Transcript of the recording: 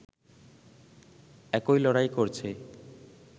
একই লড়াই করছে